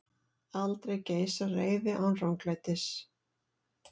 Aldrei geisar reiði án ranglætis.